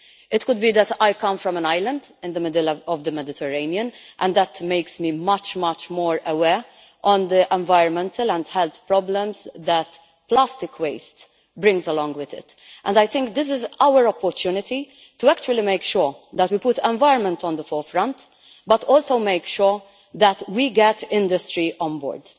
It could be that I come from an island in the middle of the Mediterranean, and that makes me much more aware of the environmental and health problems that plastic waste brings. I think this is our opportunity to actually make sure that we put environment at the forefront, while also making sure that we get industry on board.